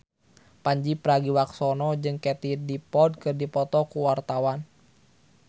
Pandji Pragiwaksono jeung Katie Dippold keur dipoto ku wartawan